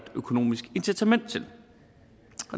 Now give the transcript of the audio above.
økonomisk incitament til